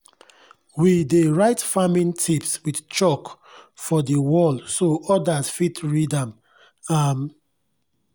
we dey write farming tips with chalk for di wall so odas fit read am. am.